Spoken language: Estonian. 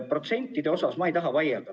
Protsentide osas ma ei taha vaielda.